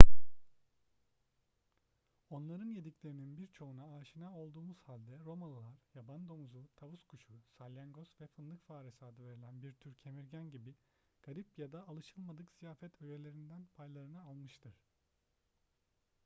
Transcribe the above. onların yediklerinin birçoğuna aşina olduğumuz halde romalılar yaban domuzu tavus kuşu salyangoz ve fındık faresi adı verilen bir tür kemirgen gibi garip ya da alışılmadık ziyafet öğelerinden paylarını almıştır